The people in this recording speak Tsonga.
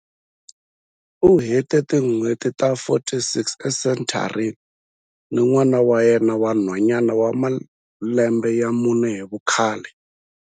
U hete tin'hweti ta 46 esenthareni ni n'wana wa yena wa nhwanyana wa malembe ya mune hi vukhale.